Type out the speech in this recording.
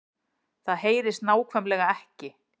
Það HEYRIST NÁKVÆMLEGA EKKI